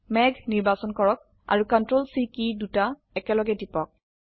মেঘ নিৰ্বাচন কৰক আৰু CTRL C কী দুটা একেলগে টিপক